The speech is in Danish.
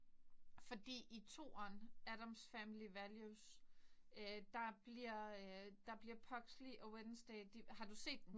Fordi i toeren Addams family values øh der øh bliver der bliver Pugsley og Wednesday de har du set den?